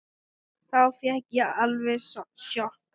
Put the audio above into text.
Þá fékk ég alveg sjokk.